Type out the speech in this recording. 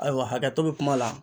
Ayiwa hakɛto bɛ kuma la.